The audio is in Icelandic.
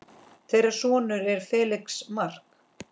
Þeirra sonur er Felix Mark.